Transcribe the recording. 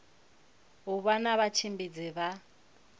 u vha na vhatshimbidzi vha